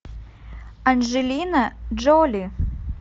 анджелина джоли